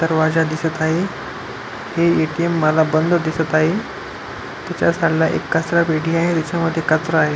दरवाजा दिसत आहे हे एटीएम मला बंद दिसत आहे तेच्या साइड ला एक कचरा पेटी आहे तेच्यामध्ये कचरा आहे.